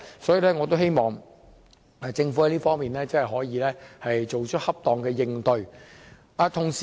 所以，我希望政府在這方面，可以作出恰當的應對。